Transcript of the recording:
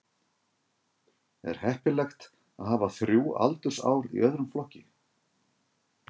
Er heppilegt að hafa þrjú aldursár í öðrum flokki?